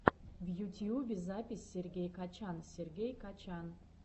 в ютьюбе запись сергей качан сергей качан